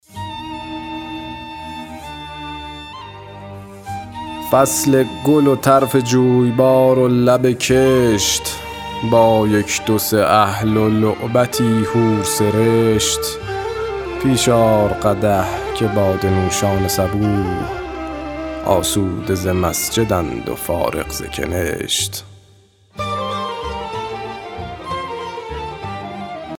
فصل گل و طرف جویبار و لب کشت با یک دو سه اهل و لعبتی حور سرشت پیش آر قدح که باده نوشان صبوح آسوده ز مسجد ند و فارغ ز کنشت